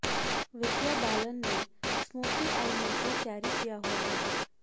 विद्या बालन ने smoky eye makeup carry किया हुआ है